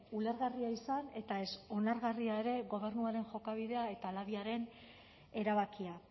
ulergarria izan eta ez onargarria ere gobernuaren jokabidea eta labiaren erabakia